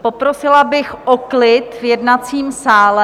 Poprosila bych o klid v jednacím sále.